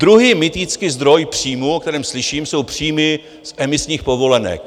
Druhý mytický zdroj příjmu, o kterém slyším, jsou příjmy z emisních povolenek.